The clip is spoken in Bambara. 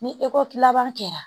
Ni ekɔti laban kɛra